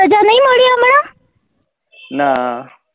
ના